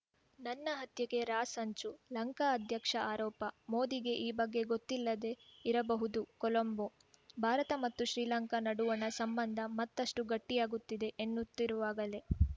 ನನ್ನ ಹತ್ಯೆಗೆ ರಾ ಸಂಚು ಲಂಕಾ ಅಧ್ಯಕ್ಷ ಆರೋಪ ಮೋದಿಗೆ ಈ ಬಗ್ಗೆ ಗೊತ್ತಿಲ್ಲದೇ ಇರಬಹುದು ಕೊಲಂಬೋ ಭಾರತ ಮತ್ತು ಶ್ರೀಲಂಕಾ ನಡುವಣ ಸಂಬಂಧ ಮತ್ತಷ್ಟುಗಟ್ಟಿಯಾಗುತ್ತಿದೆ ಎನ್ನುತ್ತಿರುವಾಗಲೇ